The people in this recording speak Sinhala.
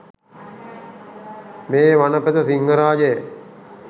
මේ වනපෙත සිංහරාජය